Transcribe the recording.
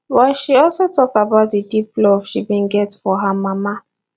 but she also tok about di deep love she bin get for her mama